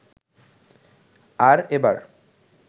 আর এবার